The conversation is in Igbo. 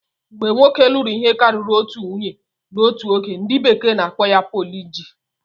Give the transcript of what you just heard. Mgbe nwoke lụrụ ihe karịrị otu nwunye n'otu oge, ndi bekee n'akpo ya polijini